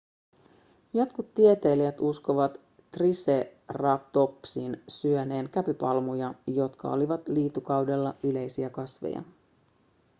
jotkut tieteilijät uskovat triceratopsin syöneen käpypalmuja jotka olivat liitukaudella yleisiä kasveja